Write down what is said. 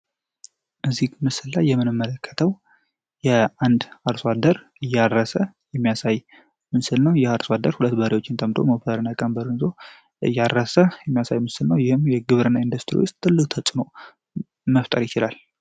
እዚህ ምስል ላይ የመመለከተው የአንድ አርሶ አደር እያረሰ የሚያሳይ ምስል ነው። ይህ አርሶ አደር 2 በሬዎችን ጠምዶ ሞፈሩን እና ቀንበሩን ይዞ እያረሰ የሚያሳይ ምስል ነው። ይህም የግብርና ኢንዱስትሪ ውስጥ ትልቅ ተፅዕኖ መፍጠር ይችላል።